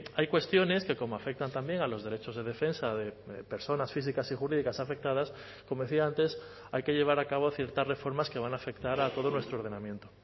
hay cuestiones que como afectan también a los derechos de defensa de personas físicas y jurídicas afectadas como decía antes hay que llevar a cabo ciertas reformas que van a afectar a todo nuestro ordenamiento